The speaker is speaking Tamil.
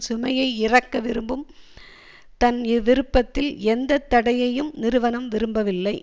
சுமையை இறக்க விரும்பும் தன் விருப்பத்தில் எந்த தடையையும் நிறுவனம் விரும்பவில்லை